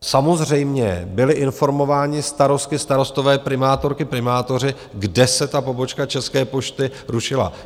Samozřejmě byli informováni starostky, starostové, primátorky, primátoři, kde se ta pobočka České pošty rušila.